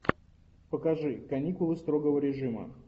покажи каникулы строгого режима